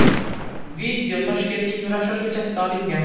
Video Toshkentning Nurafshon ko‘chasida olingan.